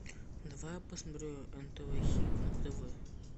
давай я посмотрю нтв хит на тв